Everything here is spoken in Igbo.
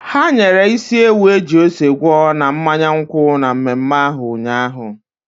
Ha nyere isi ewu eji ose gwọọ na mmanya nkwụ na mmemme ahụ ụnyaahụ.